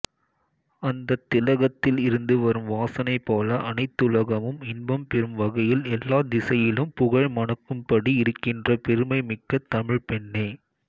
அந்தத் திலகத்தில் இருந்து வரும் வாசனைபோல அனைத்துலகமும் இன்பம்பெறும் வகையில் எல்லாத்திசையிலும் புகழ் மணக்கும்படி இருக்கின்ற பெருமை மிக்க தமிழ்ப்பெண்ணே